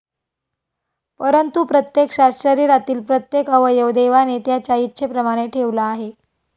परंतु प्रत्यक्षात शरीरातील प्रत्येक अवयव देवाने त्याच्या इच्छेप्रमाणे ठेवला आहे.